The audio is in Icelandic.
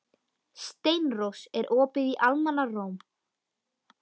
Steinrós, er opið í Almannaróm?